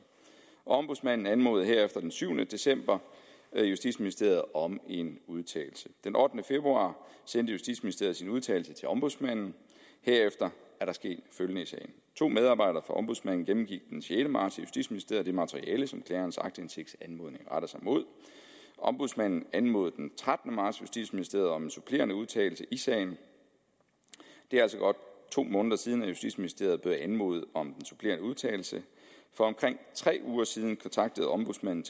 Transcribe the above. ombudsmanden anmodede herefter den syvende december justitsministeriet om en udtalelse den ottende februar sendte justitsministeriet sin udtalelse til ombudsmanden herefter er der sket følgende i sagen to medarbejdere fra ombudsmanden gennemgik den sjette marts i justitsministeriet det materiale som klagerens aktindsigtsanmodning retter sig mod ombudsmanden anmodede den trettende marts justitsministeriet om en supplerende udtalelse i sagen det er altså godt to måneder siden at justitsministeriet blev anmodet om den supplerende udtalelse for omkring tre uger siden kontaktede ombudsmanden